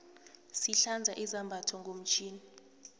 sihlanza izambatho ngomtjhini